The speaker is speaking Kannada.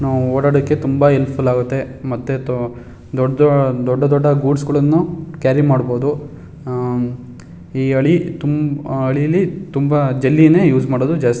ನಾವ್ ಓಡಾಡಕ್ಕೆ ತುಂಬ ಹೆಲ್ಫ್ಯೂಲ್ ಆಗತ್ತೆ ಮತ್ತೆ ದೊಡ್ಡ ದೊಡ್ಡ ದೊಡ್ಡ ಗೂಡ್ಸ್ ಗಳನ್ನೂ ಕ್ಯಾರಿ ಮಾಡಬೋದು ಅಅ ಈ ಆಳಿ ಅಳ್ಳಿಯಲ್ಲಿ ಜೆಲ್ಲಿಗಳೇ ಉಸ್ ಮಾಡೋದು ಜಾಸ್ತಿ.